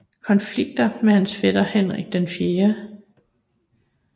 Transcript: Konflikter med hans fætter Henrik 4